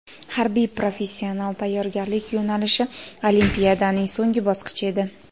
Harbiy-professional tayyorgarlik yo‘nalishi olimpiadaning so‘nggi bosqichi edi.